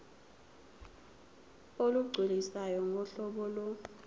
olugculisayo ngohlobo lo